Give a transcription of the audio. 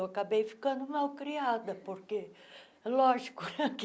Eu acabei ficando mal criada, porque, lógico né, que